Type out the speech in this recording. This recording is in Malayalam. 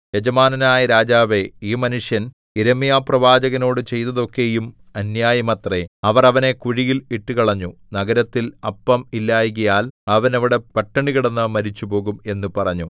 യജമാനനായ രാജാവേ ഈ മനുഷ്യർ യിരെമ്യാപ്രവാചകനോടു ചെയ്തതൊക്കെയും അന്യായമത്രേ അവർ അവനെ കുഴിയിൽ ഇട്ടുകളഞ്ഞു നഗരത്തിൽ അപ്പം ഇല്ലായ്കയാൽ അവൻ അവിടെ പട്ടിണി കിടന്നു മരിച്ചുപോകും എന്ന് പറഞ്ഞു